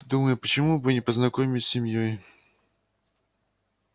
думаю почему бы не познакомить с семьёй